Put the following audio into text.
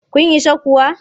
Kun isa kuwa?